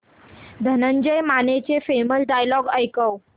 धनंजय मानेचे famous dialogue ऐकव